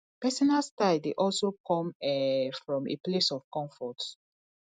personal style de also come um from a place of comfort